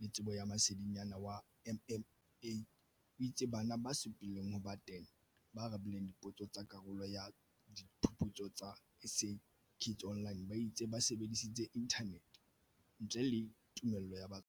le Tsebo ya Masedinyana wa MMA, o itse bana ba supi leng ho ba 10 ba arabileng dipotso tsa karolo ya Diphuputso tsa SA Kids Online ba itse ba sebedisitse inthanete ntle le tumello ya batswadi ba bona.